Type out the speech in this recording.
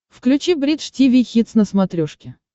включи бридж тиви хитс на смотрешке